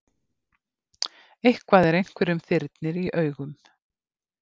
Eitthvað er einhverjum þyrnir í augum